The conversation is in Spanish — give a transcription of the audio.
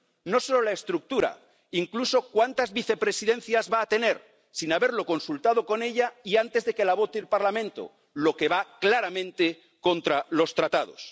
No solo la estructura ―incluso cuántas vicepresidencias va a tener―, sin haberlo consultado con ella y antes de que la vote el Parlamento, lo que va claramente contra los Tratados.